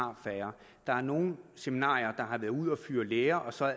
har færre der er nogle seminarier der har været ude at fyre lærere og så